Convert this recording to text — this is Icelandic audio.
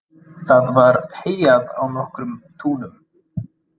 Það var heyjað á nokkrum túnum.